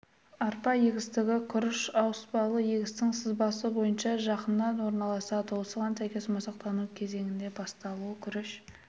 арпа егістігі күріш ауыспалы егістің сызбасы бойынша жанында орналасады осыған сәйкес масақтану кезеңінің басталуы күріш